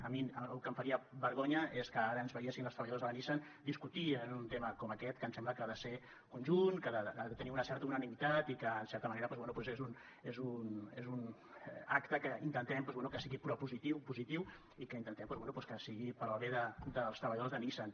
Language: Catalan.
o el que em faria vergonya a mi és que ara ens veiessin els treballadors de la nissan discutir sobre un tema com aquest que em sembla que ha de ser conjunt que ha de tenir una certa unanimitat i que en certa manera és un acte que intentem que sigui propositiu positiu i que intentem que sigui per al bé dels treballadors de nissan